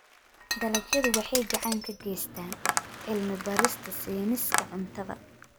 Dalagyadu waxay gacan ka geystaan ??cilmi-baarista sayniska cuntada.